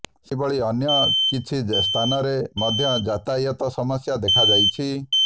ସେହିଭଳି ଅନ୍ୟ କିଛି ସ୍ଥାନରେ ମଧ୍ୟ ଯାତାୟତ ସମସ୍ୟା ଦେଖାଯାଇଛି